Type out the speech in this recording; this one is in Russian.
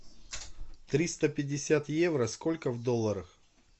триста пятьдесят евро сколько в долларах